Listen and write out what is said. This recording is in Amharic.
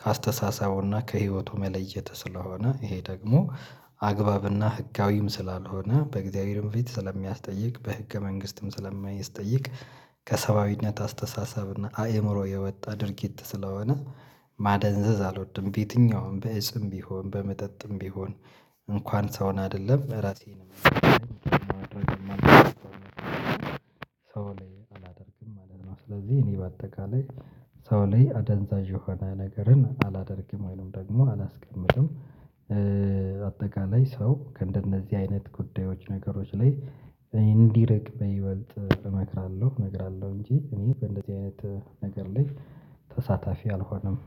ከአስተሳሳቡና ከህይወቱ መለየት ስለሆነ ይሄ ደግሞ አግባብና ህጋዊም ስላልሆነ በእግዚአብሔርም ፊት ስለሚያስጠይቅ በህገ መንግስትም ስለሚያስጠይቅ ከሰባዊነት አስተሳሰብ እና አእምሮ የወጣ ድርጊት ስለሆነ ማደንዘዝ አልወድም በየትኛውም በእጽም ቢሆን በመጠጥም ቢሆን እንኳን ሰውን አይደለም ራሴን ማድረግ ሰው ላይ አላደርግም ማለት ነው ስለዚህ እኔ በአጠቃላይ ሰው ላይ አደንዛዥ የሆነ ነገርን አላደርግም ወይንም ደግሞ አላስቀምጥም አጠቃላይ ሰው ከእንደነዚህ አይነት ጉዳዮች ነገሮች ላይ እንዲርቅ ይበልጥ እመክራለሁ እነግራለሁ እንጂ እኔ እንደዚህ አይነት ነገር ላይ ተሳታፊ አልሆነም